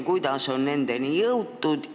Kuidas on nendeni jõutud?